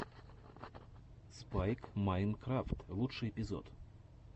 спайк майнкрафт лучший эпизод